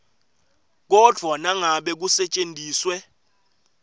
kodvwa nangabe kusetjentiswe